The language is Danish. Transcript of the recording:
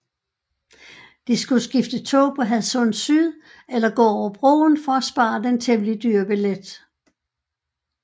De skulle skifte tog på Hadsund Syd eller gå over broen for at spare den temmelig dyre billet